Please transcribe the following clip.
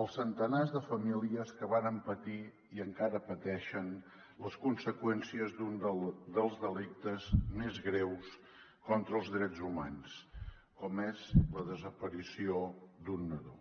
als centenars de famílies que varen patir i encara pateixen les conseqüències d’un dels delictes més greus contra els drets humans com és la desaparició d’un nadó